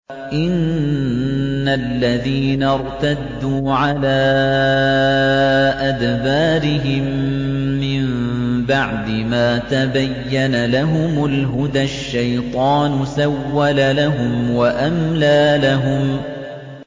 إِنَّ الَّذِينَ ارْتَدُّوا عَلَىٰ أَدْبَارِهِم مِّن بَعْدِ مَا تَبَيَّنَ لَهُمُ الْهُدَى ۙ الشَّيْطَانُ سَوَّلَ لَهُمْ وَأَمْلَىٰ لَهُمْ